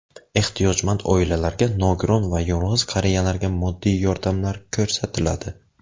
Ehtiyojmand oilalarga, nogiron va yolg‘iz qariyalarga moddiy yordamlar ko‘rsatiladi.